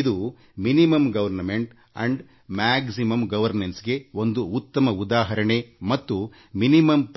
ಇದು ಕನಿಷ್ಠ ಸರ್ಕಾರಗರಿಷ್ಠ ಆಡಳಿತಕ್ಕೆ ಒಂದು ಉತ್ತಮ ಉದಾಹರಣೆ ಮತ್ತು ಇದರ ಉದ್ದೇಶ ಕನಿಷ್ಠ